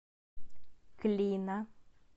клина